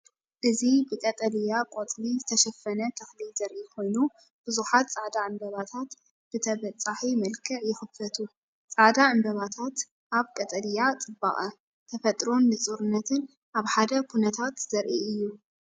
እዚ ብቀጠልያ ቆጽሊ ዝተሸፈነ ተኽሊ ዘርኢ ኮይኑ፡ ብዙሓት ጻዕዳ ዕምባባታት ብተበጻሒ መልክዕ ይኽፈቱ። ጻዕዳ ዕምባባታት ኣብ ቀጠልያ ጽባቐ! ተፈጥሮን ንጹርነትን ኣብ ሓደ ኩነታት ዘርኢ አዩ።